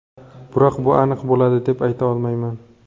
Biroq bu aniq bo‘ladi deb ayta olmayman.